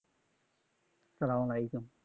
আসসালাম ওয়া আলাইকুম